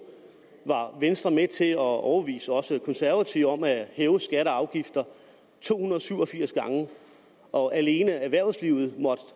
var venstre med til at overbevise også de konservative om at hæve skatter og afgifter to hundrede og syv og firs gange og alene erhvervslivet måtte